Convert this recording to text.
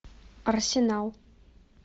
арсенал